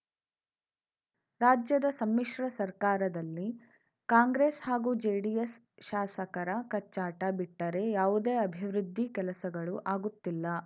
ರಾಜ್ಯದ ಸಮ್ಮಿಶ್ರ ಸರ್ಕಾರದಲ್ಲಿ ಕಾಂಗ್ರೆಸ್‌ ಹಾಗೂ ಜೆಡಿಎಸ್‌ ಶಾಸಕರ ಕಚ್ಚಾಟ ಬಿಟ್ಟರೇ ಯಾವುದೇ ಅಭಿವೃದ್ಧಿ ಕೆಲಸಗಳು ಆಗುತ್ತಿಲ್ಲ